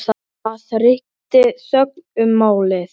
Það ríkti þögn um málið.